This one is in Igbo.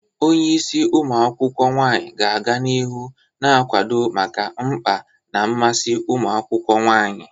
Onye isi umu akwukwo nwanyi ga-aga n'ihu na-akwado maka mkpa na mmasị ụmụ akwụkwọ nwanyị.